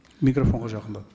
микрофонға жақындап